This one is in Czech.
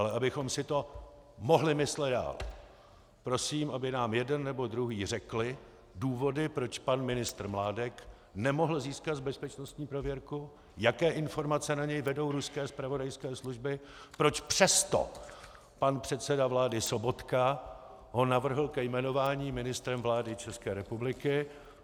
Ale abychom si to mohli myslet dál, prosím, aby nám jeden nebo druhý řekli důvody, proč pan ministr Mládek nemohl získat bezpečnostní prověrku, jaké informace na něj vedou ruské zpravodajské služby, proč přesto pan předseda vlády Sobotka ho navrhl ke jmenování ministrem vlády České republiky.